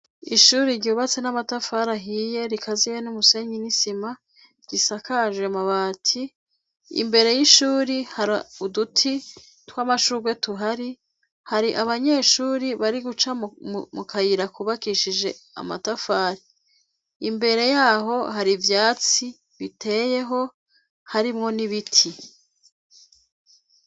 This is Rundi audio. Ishuri ryubatse n'amatafara ahiye rikaziye n'umusenyi n'isima gisakajwe mabati imbere y'ishuri hari uduti tw'amashurwe tuhari hari abanyeshuri bari guca mu kayira kubakishije amatafati imbere yaho hari ivyatsi biteyeho harimwo nibiti.